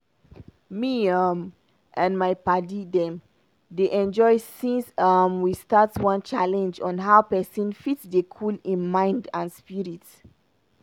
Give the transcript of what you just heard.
me um and my padi dem dey enjoy since um we start one challenge on how pesin fit dey cool im mind and spirit.